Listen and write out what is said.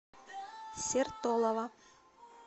сертолово